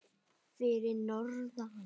Fyrir norðan?